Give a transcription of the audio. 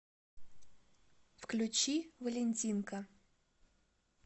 включи валентинка